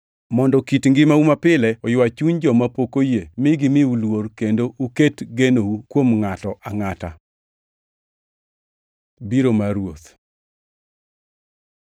mondo kit ngimau mapile oywa chuny joma pok oyie mi gimiu luor, kendo kik uket genou kuom ngʼato angʼata. Biro mar Ruoth